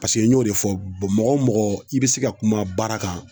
Paseke n y'o de fɔ bɔn mɔgɔ o mɔgɔ i be se ka kuma baara kan